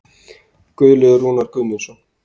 Guðlaugur Rúnar Guðmundsson.